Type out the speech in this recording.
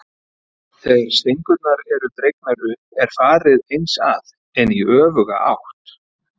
Þegar stengurnar eru dregnar upp er farið eins að, en í öfuga átt.